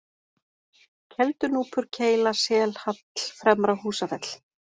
Keldunúpur, Keila, Selhall, Fremra-Húsafell